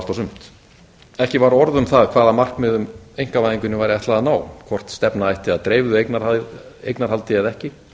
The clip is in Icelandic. sumt ekki var orð um það hvaða markmiðum einkavæðingunni væri ætlað að ná hvort stefna ætti að dreifðu eignarhaldi eða ekki